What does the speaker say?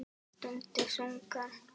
Stundi þungan.